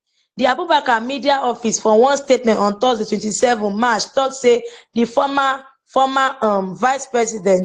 di abubakar media office for one statement on thursday 27 march tok say di former former um vicepresident